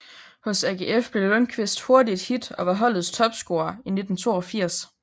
Hos AGF blev Lundkvist hurtigt et hit og var holdets topscorer i 1982